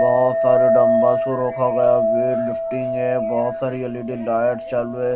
बहोत सारे डंबल्स रखा गया है वेइट लिफ्टिंग है बहोत सारी एल_इ_डी लाइट चल रहे--